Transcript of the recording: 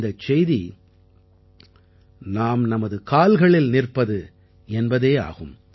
இந்தச் செய்தி நாம் நமது கால்களில் நிற்பது என்பதே ஆகும்